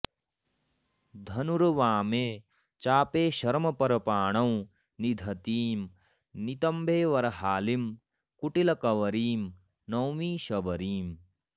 धनुर्वामे चापे शरमपरपाणौ निदधतीं नितम्बे बर्हालिं कुटिलकबरीं नौमि शबरीम्